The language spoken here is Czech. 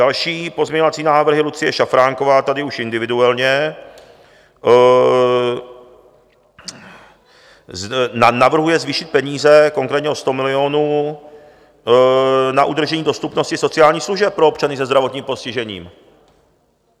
Další pozměňovací návrhy: Lucie Šafránková tady už individuálně navrhuje zvýšit peníze konkrétně o 100 milionů na udržení dostupnosti sociálních služeb pro občany se zdravotním postižením.